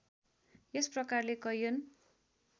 यस प्रकारले कैयन